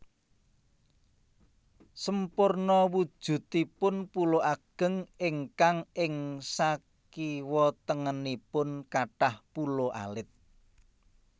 Semporna wujudipun pulo ageng ingkang ing sakiwatengenipun kathah pulo alit